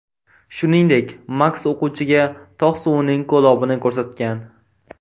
Shuningdek, Maks o‘quvchiga tog‘ suvining ko‘lobini ko‘rsatgan.